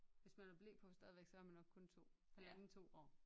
Hvis man har ble på stadig så er man nok kun 2 halvandet 2 år